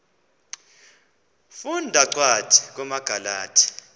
funda cwadi kumagalati